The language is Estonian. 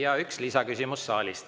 Ja üks lisaküsimus saalist.